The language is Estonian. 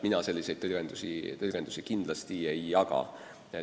Mina selliseid tõlgendusi kindlasti ei jaga.